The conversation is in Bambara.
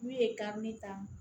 N'u ye karili ta